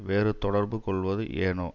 வேறு தொடர்பு கொள்வது ஏனோ